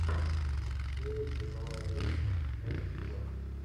феи тяжелой атлетики первый сезон